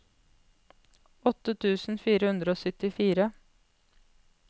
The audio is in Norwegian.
åtte tusen fire hundre og syttifire